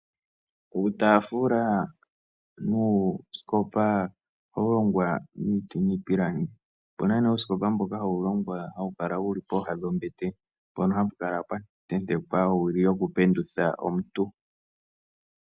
Uutafula nuuskopa ohawu longwa miipilangi. Opuna ne uuskopa mboka hawu longwa, hawu kala wuli pooha dho mbete, mpoka hapu kala pwa tentekwa owili yoku pendutha omuntu.